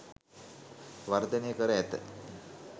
වර්ධනය කර ඇත.